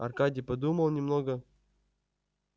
аркадий подумал немного